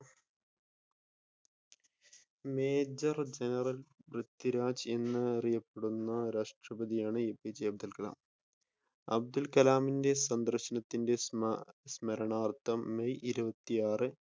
Major general Prithviraj എന്ന് അറിയപ്പെടുന്ന രാഷ്‌ട്രപ്രതിയാണ് എപിജെ അബ്ദുൽ കലാം. അബ്ദുൽ കലാമിന്റെ സന്ദർശനത്തിന്റെ സ്മ സ്മരണാർത്ഥം മെയ് ഇരുപത്തിയാറ്